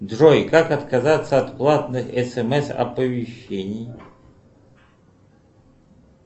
джой как отказаться от платных смс оповещений